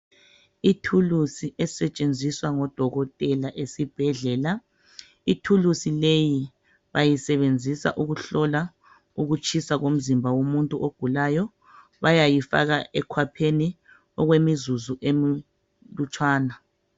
Ithulusi esetshenziswa ngodokotela ezibhedlela. Ithulusi leyi bayasebenzisa ukuhlola ukutshisa komzimba wumuntu ogulayo. Bayayifaka ekhwapheni okwemizuzu emlutshwana.